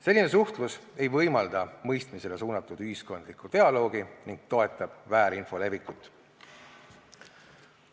Selline suhtlus ei võimalda mõistmisele suunatud ühiskondlikku dialoogi ning toetab väärinfo levikut.